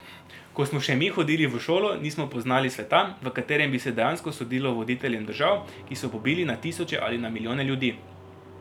Ko smo še mi hodili v šolo, nismo poznali sveta, v katerem bi se dejansko sodilo voditeljem držav, ki so pobili na tisoče ali na milijone ljudi.